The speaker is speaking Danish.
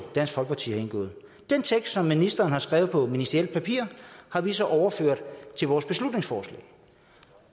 dansk folkeparti har indgået den tekst som ministeren har skrevet på ministerielt papir har vi så overført til vores beslutningsforslag